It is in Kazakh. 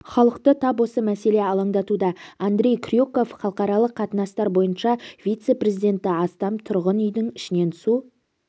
халықты тап осы мәселе алаңдатуда андрей крюков халықаралық қатынастар бойынша вице-президенті астам тұрғын үйдің ішіне су